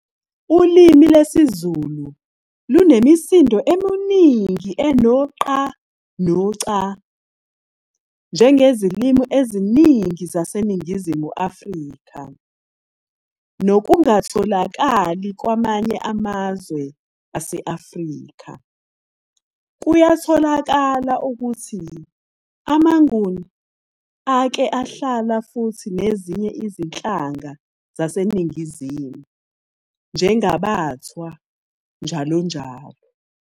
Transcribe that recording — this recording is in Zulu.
Ulimi lwesiZulu lunemisindo eminingi eno "qa" no "ca", njengezilimu eziningi zase Ningizimu Afrika, nokungatholakali kwamanye amazwe ase Afrika. Kuyatholakala ukuthi ama Nguni ake ahlala futhi nezinye izinhlanga zaseNingizimu, njengabaThwa njalo njalo.